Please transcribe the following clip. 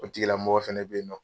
O tigila mɔgɔ fana bɛ yen nɔ.